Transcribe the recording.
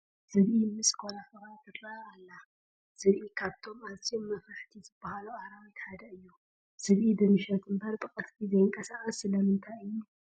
ዝብኢ ምስ ኮራኲራ ትርአ ኣላ፡፡ ዝብኢ ካብቶም ኣዝዮም መፍራሕቲ ዝበሃሉ ኣራዊታት ሓደ እዩ፡፡ ዝብኢ ብምሽት እምበር ብቐትሪ ዘይንቀሳቐስ ስለምንታይ እዩ?